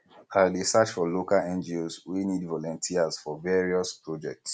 i dey search for local ngos wey need volunteers for various projects